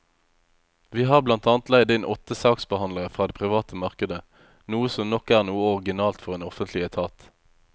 Vi har blant annet leid inn åtte saksbehandlere fra det private markedet, noe som nok er noe originalt for en offentlig etat.